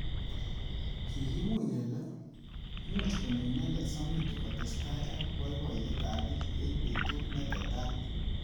Kikimuch kele much konyo inendet Samidoh kotestai ak boiboyet ab bik eng betut ne tetat.